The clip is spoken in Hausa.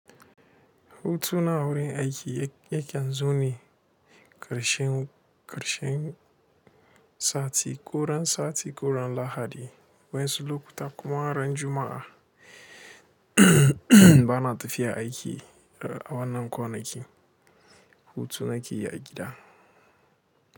Hutu na awurin aiki yakan zo ne ƙarshen, ƙarshen sati, ko ran sati, ko ran Lahadi, wanzu lokuta kuma ran Juma'a ba na tafiya aiki a wannan kwanakin. Hutuna ke yi a gida.